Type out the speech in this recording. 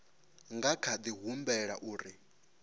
nga kha di humbela uri